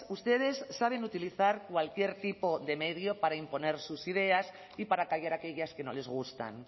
ustedes saben utilizar cualquier tipo de medio para imponer sus ideas y para callar aquellas que no les gustan